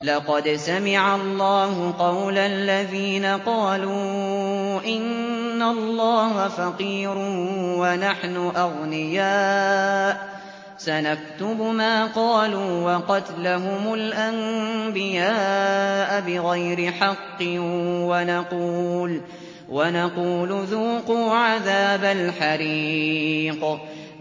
لَّقَدْ سَمِعَ اللَّهُ قَوْلَ الَّذِينَ قَالُوا إِنَّ اللَّهَ فَقِيرٌ وَنَحْنُ أَغْنِيَاءُ ۘ سَنَكْتُبُ مَا قَالُوا وَقَتْلَهُمُ الْأَنبِيَاءَ بِغَيْرِ حَقٍّ وَنَقُولُ ذُوقُوا عَذَابَ الْحَرِيقِ